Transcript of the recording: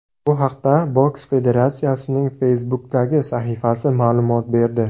Bu haqda boks federatsiyasining Facebook’dagi sahifasi ma’lumot berdi.